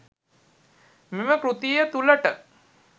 මෙම කෘතිය තුළට